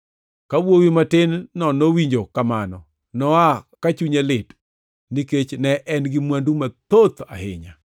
Ka wuowi matin-no nowinjo mano, noa ka chunye lit, nikech ne en-gi mwandu mathoth ahinya.